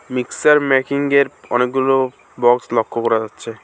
Mixer মেকিংয়ের অনেকগুলি box লক্ষ্য করা যাচ্ছে।